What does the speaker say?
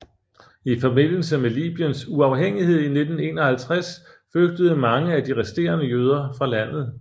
I forbindelse med Libyens uafhængighed i 1951 flygtede mange af de resterende jøder fra landet